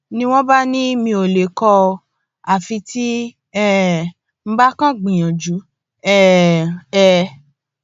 ni wọn bá ní mi ò lè kó o àfi tí n um bá kàn ń gbìyànjú um ẹ